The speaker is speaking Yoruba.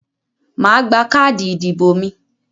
mà á gba káàdì ìdìbò mi.